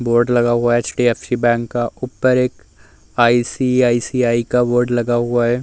Board लगा हुआ HDFC bank का। ऊपर एक आईसीआईसीआई का बोर्ड लगा हुआ है।